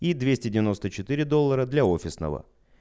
двести двадцать четыре доллара для офисного